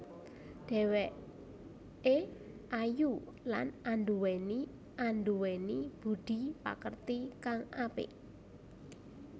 Dheweké ayu lan anduweni anduweni budhi pakerti kang apik